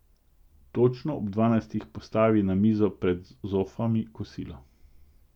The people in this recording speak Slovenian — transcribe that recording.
Točno ob dvanajstih postavi na mizo pred zofami kosilo.